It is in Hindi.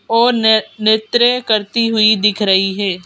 और न नृत्य करती हुई दिख रही है।